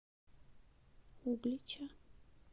углича